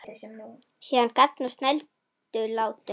Síðan garn á snældu látum.